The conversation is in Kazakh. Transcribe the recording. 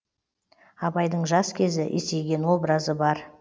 абайдың жас кезі есейген образы бар